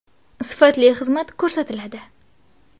Sifatli xizmat ko‘rsatiladi.